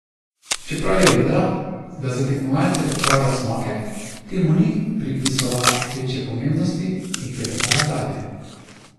Čeprav je vedela, da za tekmovalce pripravlja cmoke, temu ni pripisovala večje pomembnosti in klepetala dalje.